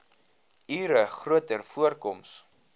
ure groter voorkoms